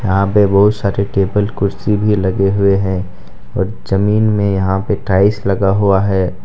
यहां पे बोहत सारे टेबल कुर्सी भी लगे हुए है और जमीन मे यहाँ पे टाइल्स लगा हुआ है।